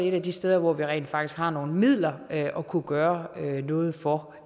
et af de steder hvor vi rent faktisk har nogle midler at kunne gøre noget for